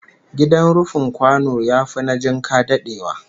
Gidan rufin kwano yafi na jinka dadewa